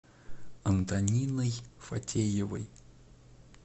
антониной фатеевой